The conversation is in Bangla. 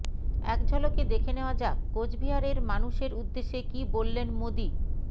এক ঝলকে দেখে নেওয়া যাক কোচবিহারের মানুষের উদ্দেশে কী বললেন মোদীঃ